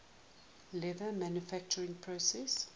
leather manufacturing process